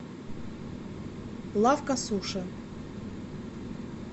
лавка суши